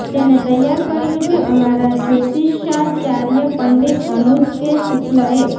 જેને તૈયાર કર્યું છે અમારા જ્યોતિષાચાર્ય પંડિત અનુજ કે શુક્લએ